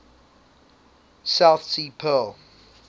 south sea pearl